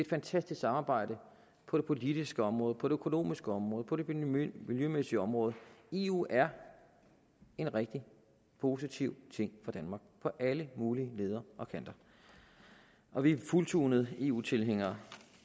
fantastisk samarbejde på det politiske område på det økonomiske område på det miljømæssige område eu er en rigtig positiv ting for danmark på alle mulige leder og kanter og vi er fuldtonede eu tilhængere